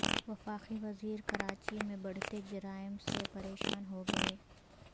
وفاقی وزیر کراچی میں بڑھتے جرائم سے پریشان ہوگئے